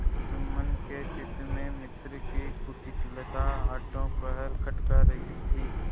जुम्मन के चित्त में मित्र की कुटिलता आठों पहर खटका करती थी